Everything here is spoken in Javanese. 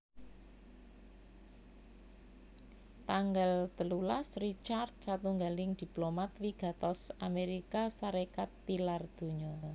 Tanggal telulas Richard satunggaling diplomat wigatos Amérika Sarékat tilar donya